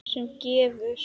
sem gefur